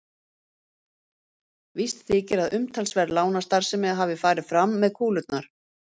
Víst þykir að umtalsverð lánastarfsemi hafi farið fram með kúlurnar.